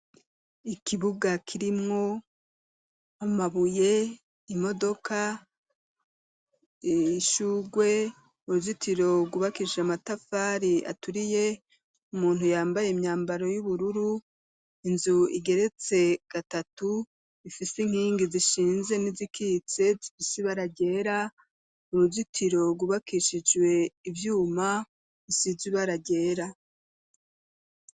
Ikibuga, kirimwo amabuye, imodoka, ishurwe, uruzitiro rwubakishije amatafari aturiye; umuntu yambaye imyambaro y'ubururu, inzu igeretse gatatu, ifise inkingi zishinze, n'izikitse, zifise ibara ryera, uruzitiro rwubakishijwe ivyuma, rusize ibara ryera.